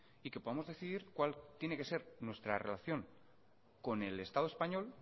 y que podamos decidir cuál tiene que ser nuestra relación con el estado español